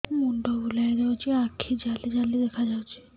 ମୁଣ୍ଡ ବୁଲେଇ ଦଉଚି ଆଖି ଜାଲି ଜାଲି ଦେଖା ଯାଉଚି